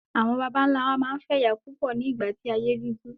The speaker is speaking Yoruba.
Àwọn bàbá ńlá wa máa ń fẹ́ ìyàwó púpọ̀ ní ìgbà tí ayé dúdú.